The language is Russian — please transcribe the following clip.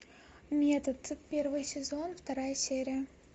метод первый сезон вторая серия